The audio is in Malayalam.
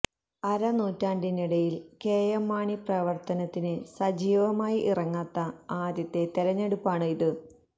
അര നൂറ്റാണ്ടിനിടയിൽ കെഎം മാണി പ്രവർത്തനത്തിന് സജീവമായി ഇറങ്ങാത്ത ആദ്യത്തെ തെരഞ്ഞെടുപ്പാണ് ഇത്